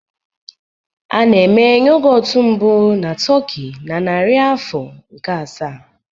A na-eme yogọt mbụ na Turkey na narị afọ nke asaa